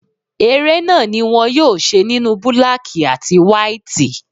Eré náà ni wón yóò ṣe nínú búlákí àti wáítì.